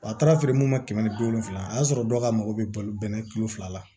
Wa a taara feere mun ma kɛmɛ ni bi wolonfila o y'a sɔrɔ dɔw ka mako bɛ balo bɛnɛ kilo fila la